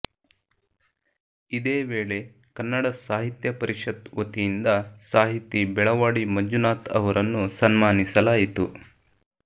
ಇದೇ ವೇಳೆ ಕನ್ನಡ ಸಾಹಿತ್ಯ ಪರಿಷತ್ ವತಿಯಿಂದ ಸಾಹಿತಿ ಬೆಳವಾಡಿ ಮಂಜುನಾಥ್ ಅವರನ್ನು ಸನ್ಮಾನಿಸಲಾಯಿತು